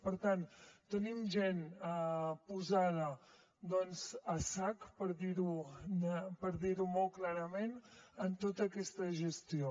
per tant tenim gent posada doncs a sac per dir ho molt clarament en tota aquesta gestió